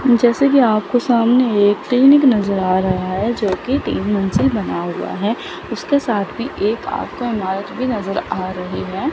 जैसा कि आपको सामने एक क्लीनिक नजर आ रहा है जो की तीन मंजिल बना हुआ है उसके साथ में एक आपको इमारत भी नजर आ रही हैं।